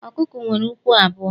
Ọkụkọ nwere ukwu abụọ.